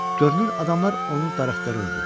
Görünür, adamlar onu darıxdırırdı.